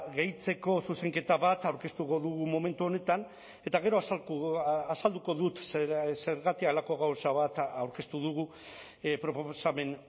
gehitzeko zuzenketa bat aurkeztuko dugu momentu honetan eta gero azalduko dut zergatik halako gauza bat aurkeztu dugu proposamen